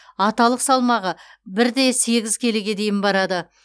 аталық салмағы бір де сегіз келіге дейін барады